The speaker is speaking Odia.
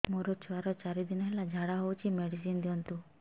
ମୋର ଛୁଆର ଚାରି ଦିନ ହେଲା ଝାଡା ହଉଚି ମେଡିସିନ ଦିଅନ୍ତୁ